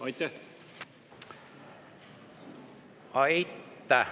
Aitäh!